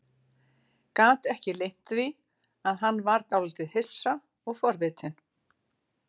Gat ekki leynt því að hann var dálítið hissa og forvitinn.